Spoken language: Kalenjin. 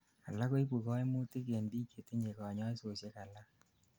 alak koibu koimutik en biik chetinyei kanyaisosiek alak